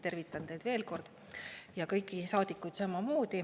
Tervitan teid veel kord ja kõiki saadikuid samamoodi.